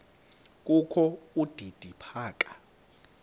kokho udidi phaka